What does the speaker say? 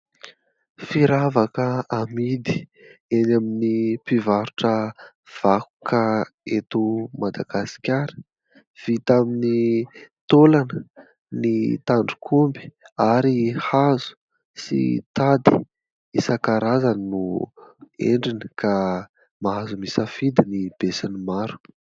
Firavaka amidy eny amin'ny mpivarotra vakoka eto Madagasikara, vita amin'ny taolana, ny tandrok'omby, ary hazo sy tady; isan-karazany no endriny, ka mahazo misafidy ny be sy ny maro.